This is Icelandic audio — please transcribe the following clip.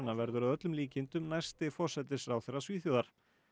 verður að öllum líkindum næsti forsætisráðherra Svíþjóðar